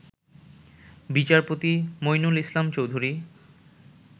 বিচারপতি মঈনুল ইসলাম চৌধুরী